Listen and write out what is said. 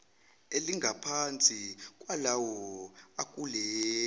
elingaphansi kwalawo akuleli